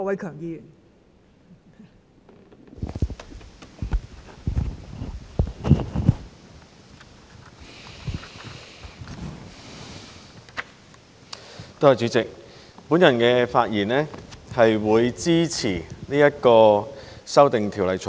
代理主席，我發言支持《2021年個人資料條例草案》。